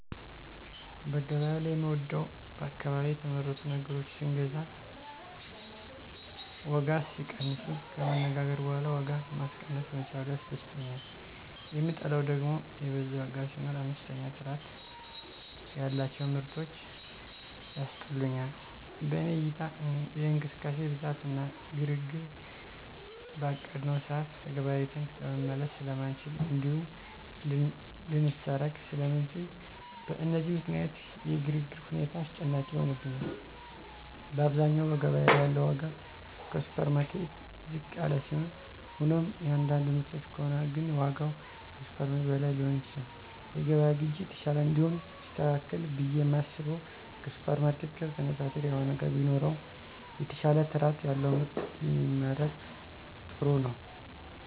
በገበያው ላይ የምወደው በአካባቢ የተመረቱ ነገሮችን ስንገዛ ዋጋ ሲቀንሱ፣ ከመነጋገር በኋላ ዋጋ ማስቀነስ መቻሉ ያስደስተኛል, የምጠላው ደግም የበዛ ዋጋ ሲኖር፣ አነስተኛ ጥራት ያላቸው ምርቶች ያስጠሉኛል። በኔ እይታ የእንቅስቃሴ ብዛት እና ግርግር፣ በአቀድነው ሰዓት ተገበያይተን ለመመለስ ስለማንችል እንዲሁም ልንሰረቅ ስለምንችል፣ በእነዚህ ምክንያት የግርግር ሁኔታ አስጨናቂ ይሆንብኛል። በአብዛኛው በገበያ ላይ ያለው ዋጋ ከሱፐርማርኬት ዝቅ ያለ ሲሆን ሆኖም የአንዳንድ ምርቶች ከሆነ ግን ዋጋው ከሱፐርማርኬት በላይ ሊሆን ይችላል። የገበያ ግዢ የተሻለ እንዲሆን ቢስተካከል ብየ የማስበው ከሱፐርማርኬት ጋር ተነፃፃሪ የሆነ ዋጋ ቢኖረው፣ የተሻለ ጥራት ያለው ምርት ቢመረት ጥሩ ነው።